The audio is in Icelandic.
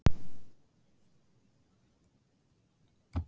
Hvað langar þig að gera þegar að knattspyrnuferlinum líkur?